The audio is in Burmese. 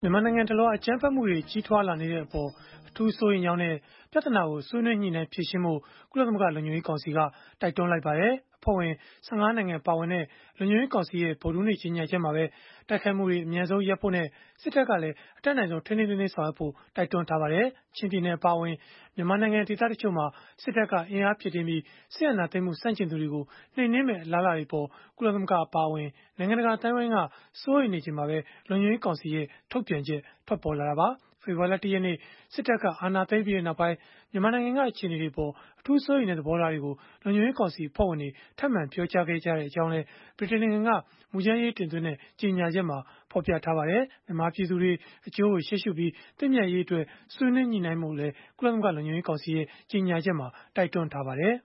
မြန်မာနိုင်ငံတလွှား အကြမ်းဖက်မှုတွေ ကြီးထွားလာနေတဲ့အပေါ် အထူးစိုးရိမ်ကြောင်းနဲ့ ပြဿနာကို ဆွေးနွေးညှိနှိုင်းဖြေရှင်းဖို့ ကုလသမဂ္ဂ လုံခြုံရေးကောင်စီက တိုက်တွန်းလိုက်ပါတယ်။ အဖွဲ့ဝင် ၁၅ နိုင်ငံ ပါဝင်တဲ့ လုံခြုံရေးကောင်စီရဲ့ ဗုဒ္ဓဟူးနေ့က ကြေညာချက်မှာပဲ တိုက်ခိုက်မှုတွေ အမြန်ဆုံးရပ်ဖို့နဲ့ စစ်တပ်က အတတ်နိုင်ဆုံး ထိန်းထိန်းသိမ်းသိမ်း ဆောင်ရွက်ဖို့လည်း တိုက်တွန်းထားပါတယ်။ ချင်းပြည်နယ် အပါအဝင် မြန်မာနိုင်ငံ ဒေသတချို့မှာ စစ်တပ်က အင်အား ဖြည့်တင်းပြီး စစ်အာဏာသိမ်းမှု ဆန့်ကျင်သူတွေကို နှိမ်နင်းမယ့် အလားအလာတွေအပေါ် ကုလသမဂ္ဂ အပါအဝင် နိုင်ငံတကာ အသိုင်းအဝန်းက စိုးရိမ်နေချိန်မှာပဲ လုံခြုံရေးကောင်စီရဲ့ ထုတ်ပြန်ချက် ထွက်ပေါ်လာတာပါ။ ဖေဖော်ဝါရီလ ၁ ရက်နေ့ စစ်တပ်က အာဏာသိမ်းပြီးနောက်ပိုင်း မြန်မာနိုင်ငံက အခြေအနေတွေအပေါ် အထူးစိုးရိမ်တဲ့ သဘောထားတွေကို လုံခြုံရေးကောင်စီ အဖွဲ့ဝင်တွေ ထပ်မံပြောကြားခဲ့ကြောင်းလည်း ဗြိတိန်နိုင်ငံက မူကြမ်းရေးတင်သွင်းခဲ့တဲ့ ကြေညာချက်မှာ ဖော်ပြထားပါတယ်။ မြန်မာပြည်သူတွေ အကျိုးကို ရှေ့ရှုပြီး သင့်မြတ်ရေးအတွက် ဆွေးနွေးညှိနှိုင်းဖို့လည်း ကြေညာချက်က တိုက်တွန်းထားပါတယ်